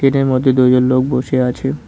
এটার মধ্যে দুইজন লোক বসে আছে।